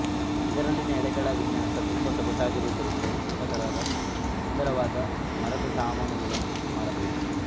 ಇದರಲ್ಲಿನ ಎಳೆಗಳ ವಿನ್ಯಾಸ ತುಂಬ ಸೊಗಸಾಗಿರುವುದರಿಂದ ಉತ್ತಮ ತರದ ಸುಂದರವಾದ ಮರದ ಸಾಮಾನುಗಳನ್ನು ಮಾಡಬಹುದು